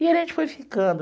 E a gente foi ficando.